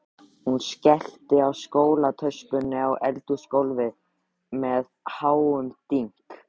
Hún skellti skólatöskunni á eldhúsgólfið með háum dynk.